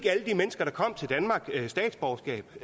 mennesker der kom til danmark statsborgerskab